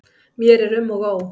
Mér er um og ó.